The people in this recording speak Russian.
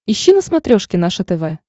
ищи на смотрешке наше тв